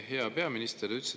Hea peaminister!